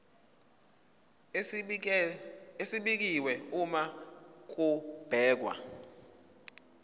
esibekiwe uma kubhekwa